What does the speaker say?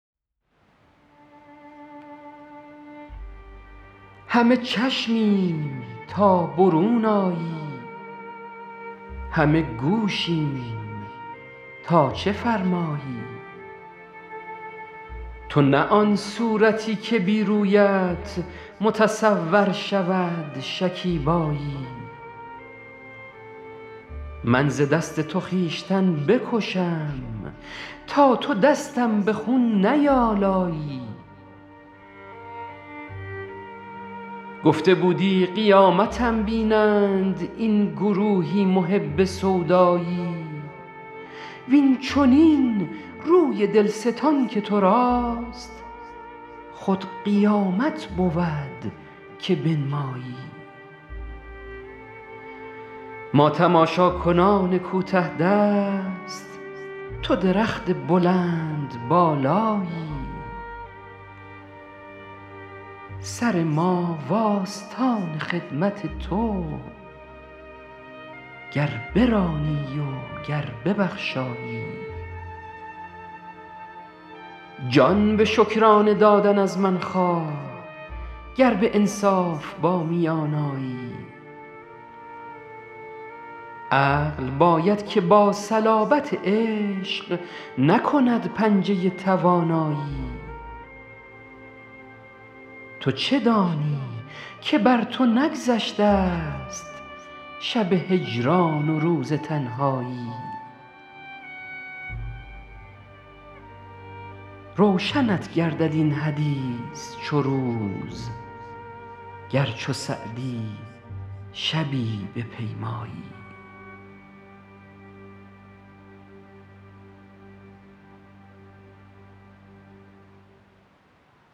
همه چشمیم تا برون آیی همه گوشیم تا چه فرمایی تو نه آن صورتی که بی رویت متصور شود شکیبایی من ز دست تو خویشتن بکشم تا تو دستم به خون نیآلایی گفته بودی قیامتم بینند این گروهی محب سودایی وین چنین روی دل ستان که تو راست خود قیامت بود که بنمایی ما تماشاکنان کوته دست تو درخت بلندبالایی سر ما و آستان خدمت تو گر برانی و گر ببخشایی جان به شکرانه دادن از من خواه گر به انصاف با میان آیی عقل باید که با صلابت عشق نکند پنجه توانایی تو چه دانی که بر تو نگذشته ست شب هجران و روز تنهایی روشنت گردد این حدیث چو روز گر چو سعدی شبی بپیمایی